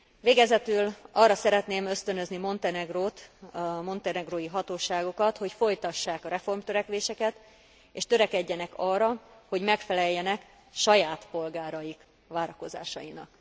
Végezetül arra szeretném ösztönözni Montenegrót, a montenegrói hatóságokat, hogy folytassák a reformtörekvéseket, és törekedjenek arra, hogy megfeleljenek saját polgáraik várakozásainak.